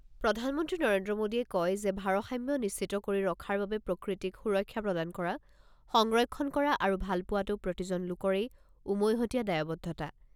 প্ৰধানমন্ত্ৰী নৰেন্দ্ৰ মোদীয়ে কয় যে ভাৰসাম্য নিশ্চিত কৰি ৰখাৰ বাবে প্ৰকৃতিক সুৰক্ষা প্ৰদান কৰা, সংৰক্ষণ কৰা আৰু ভালপোৱাটো প্ৰতিজন লোকৰেই উমৈহতীয়া দায়বদ্ধতা।